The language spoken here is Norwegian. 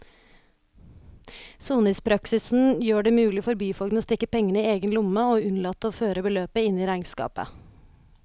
Soningspraksisen gjorde det mulig for byfogden å stikke pengene i egen lomme og unnlate å føre beløpet inn i regnskapet.